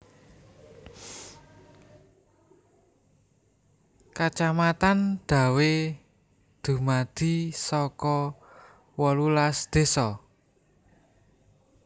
Kacamatan Dawe dumadi saka wolulas désa